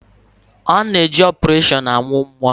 A na-eje opereshọn amụ nnwa